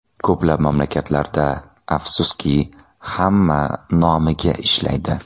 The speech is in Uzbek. Ko‘plab mamlakatlarda, afsuski, hamma nomiga ishlaydi.